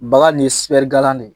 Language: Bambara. Baga nin ye sipɛrgalan de ye.